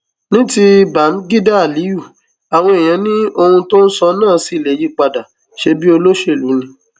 ní ti báḿgídá aliyu àwọn èèyàn ni ohun tó ń sọ náà ṣì lè yípadà ṣebí olóṣèlú ni